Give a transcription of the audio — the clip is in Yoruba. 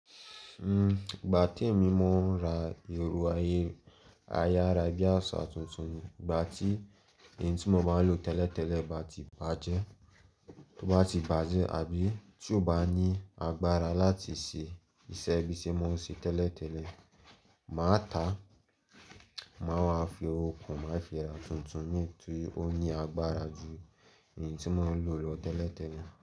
Igbà tí èmi mo ń ra èrò ayé ayárabíàsá tuntun, igbà tí èyí tí n mo bá ń lò tẹ́lẹ̀tẹ́lẹ̀ bá ti bàjẹ́, tó bá ti bàjẹ́ àbí tí ò bá ní agbára láti ṣe iṣẹ́ bíi ṣe mo ń ṣe tẹ́lẹ̀tẹ́lẹ̀, màá ta, màá máa fi okùn, màá fi ra tuntun ní iyi tí ó ní agbára ju èyí tí mo ń lò lọ tẹ́lẹ̀tẹ́lẹ̀.